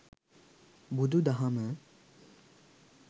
බුදු දහම,